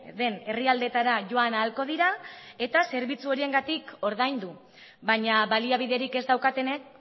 den herrialdeetara joan ahalko dira eta zerbitzu horiengatik ordaindu baina baliabiderik ez daukatenek